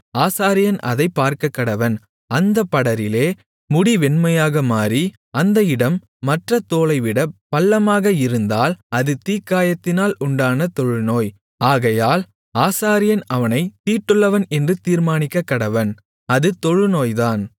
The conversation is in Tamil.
ஆசாரியன் அதைப் பார்க்கக்கடவன் அந்தப் படரிலே முடி வெண்மையாக மாறி அந்த இடம் மற்ற தோலைவிட பள்ளமாக இருந்தால் அது தீக்காயத்தினால் உண்டான தொழுநோய் ஆகையால் ஆசாரியன் அவனைத் தீட்டுள்ளவன் என்று தீர்மானிக்கக்கடவன் அது தொழுநோய்தான்